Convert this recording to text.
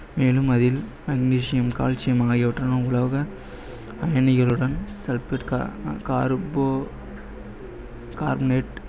மேலும் அதில் magnesium, calcium உலோக அயனிகளுடன்